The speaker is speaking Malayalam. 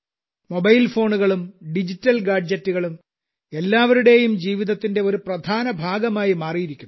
മൊബൈൽ ഫോണുകളും ഡിജിറ്റൽ ഗാഡ്ജെറ്റുകളും എല്ലാവരുടെയും ജീവിതത്തിന്റെ ഒരു പ്രധാന ഭാഗമായി മാറിയിരിക്കുന്നു